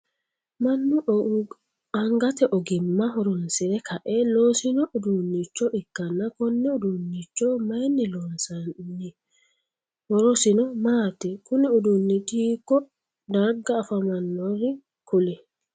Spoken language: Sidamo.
Mannu angate ogimma horoonsire kae loosino uduunicho ikanna konne uduunnicho mayinni loonsoonni? Horosino maati? Kunni uduunichi hiiko darga afamanori kuli?